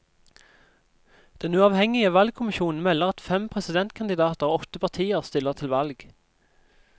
Den uavhengige valgkommisjonen melder at fem presidentkandidater og åtte partier stiller til valg.